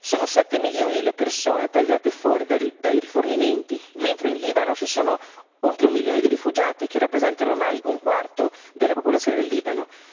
Sono sette milioni le persone tagliate fuori dai rifornimenti, mentre in Libano ci sono oltre un milione di rifugiati che rappresentano oramai un quarto della popolazione del Libano.